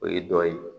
O ye dɔ ye